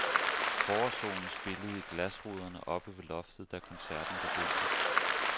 Forårssolen spillede i glasruderne oppe ved loftet da koncerten begyndte.